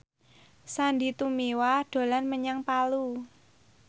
Sandy Tumiwa dolan menyang Palu